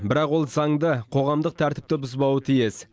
бірақ ол заңды қоғамдық тәртіпті бұзбауы тиіс